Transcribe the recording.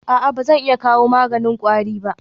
A'a ba zan iya kawo maganin kwari ba?